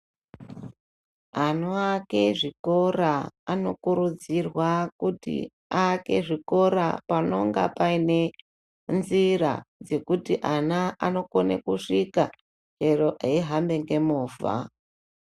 Anoake zvikora anokurudzirwa kuti aake zvikora panonga paine nzira dzekuti ana anokona kusvika chero eihamba nemovha.